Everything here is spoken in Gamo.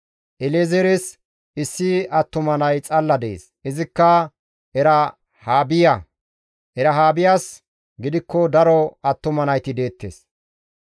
El7ezeeres issi attuma nay xalla dees; izikka Erahaabiya; Erahaabiyas gidikko daro attuma nayti deettes.